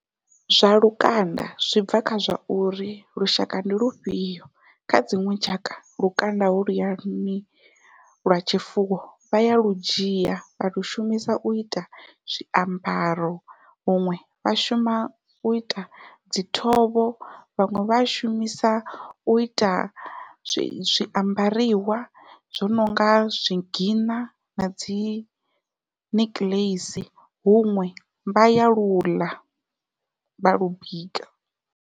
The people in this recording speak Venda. Zwa lukanda zwi bva kha zwa uri lushaka ndi lufhio, kha dziṅwe tshaka lukanda holuya lwa lwa tshifuwo vha ya lu dzhia vha lu shumisa uita zwiambaro huṅwe vha shuma uita dzi thovho vhaṅwe vha a shumisa uita zwiambariwa zwo nonga zwigiṋa nadzi nikiḽeisi huṅwe vha ya lu ḽa vha lu bika.